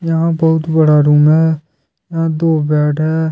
यहां बहुत बड़ा रूम है यहां दो बेड हैं।